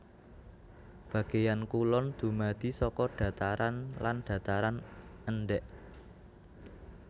Bagéan kulon dumadi saka dhataran lan dhataran endhèk